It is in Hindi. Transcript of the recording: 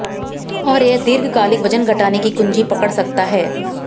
और यह दीर्घकालिक वजन घटाने की कुंजी पकड़ सकता है